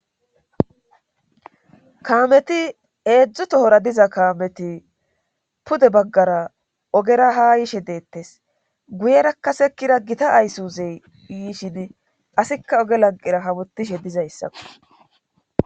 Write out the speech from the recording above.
kaameti eedzdzutohora diza kaameti pude baggara ogera ha yishe deettes guyerakkasekkira gita aysuzey yiishidi asikka oge lanqira hamutishe dizayssakko